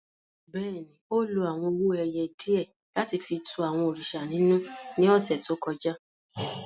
Bẹ́ẹ̀ni, o lo awọn owo-ẹyẹ diẹ lati fi tú àwọn òrìṣà ninú ni ọsẹ to kọja.